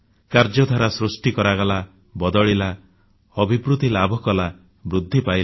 କାର୍ଯ୍ୟଧାରା ସୃଷ୍ଟି କରାଗଲା ବଦଳିଲା ଅଭିବୃଦ୍ଧି ଲାଭ କଲା ବୃଦ୍ଧି ପାଇଲା